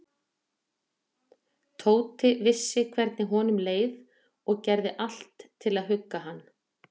Tóti vissi hvernig honum leið og gerði allt til að hugga hann.